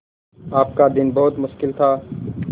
आपका दिन बहुत मुश्किल था